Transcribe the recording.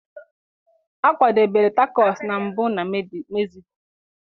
A kwadebere Tacos na mbụ na Mezico.